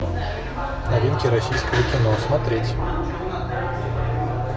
новинки российского кино смотреть